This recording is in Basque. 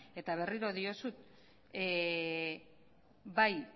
eta berriro diotsut bai